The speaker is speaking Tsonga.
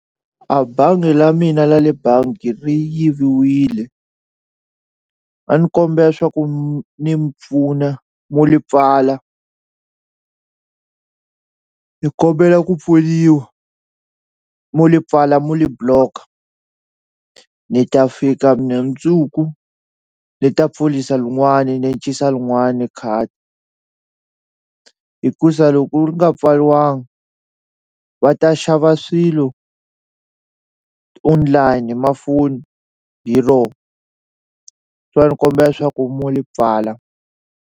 A bangi la mina la le bangi ri yiviwile a ni kombela swa ku mi ni pfuna mu li pfala ni kombela ku pfuniwa muli pfala muli block-a ni ta fika mina mindzuku ni ta pfulisa lin'wani ni lin'wani khadi hikusa loko li nga pfaliwanga va ta xava swilo online hi mafoni hi rona se a ni kombela swa ku mu li pfala.